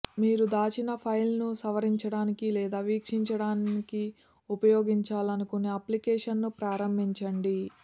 మీరు దాచిన ఫైల్ను సవరించడానికి లేదా వీక్షించడానికి ఉపయోగించాలనుకునే అప్లికేషన్ను ప్రారంభించండి